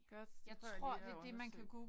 Godt det prøver jeg lige at undersøge